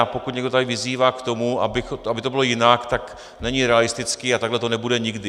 A pokud někdo tady vyzývá k tomu, aby to bylo jinak, tak není realistický a takhle to nebude nikdy.